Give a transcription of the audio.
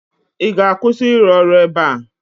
Ị ga-akwụsị ịrụ ọrụ ebe a?